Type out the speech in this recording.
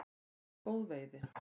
Það er góð veiði.